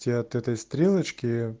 все от этой стрелочки